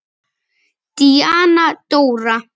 Díana Dóra.